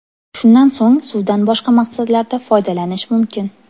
Shundan so‘ng suvdan boshqa maqsadlarda foydalanish mumkin.